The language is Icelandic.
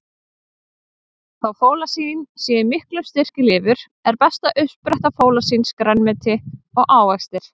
Þó fólasín sé í miklum styrk í lifur, er besta uppspretta fólasíns grænmeti og ávextir.